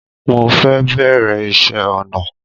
Mo fẹ́ bẹ̀rẹ̀ ìṣe ọnà